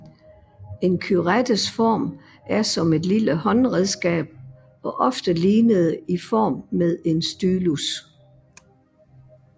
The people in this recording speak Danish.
En curettes form er som et lille håndredskab og ofte lignede i form med en stylus